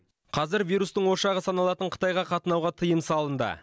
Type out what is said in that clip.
қазір вирустың ошағы саналатын қытайға қатынауға тыйым салынды